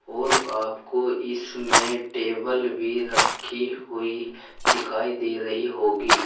और आपको इसमें टेबल भी रखी हुई दिखाई दे रही होगी।